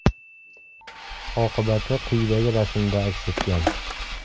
Oqibati quyidagi rasmda aks etgan.